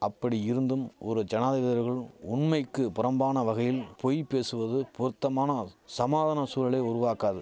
அப்படி இருந்தும் ஒரு ஜனாதிபதியர்கள் உண்மைக்கு புறம்பான வகையில் பொய் பேசுவது பொருத்தமான சமாதான சூழலை உருவாக்காது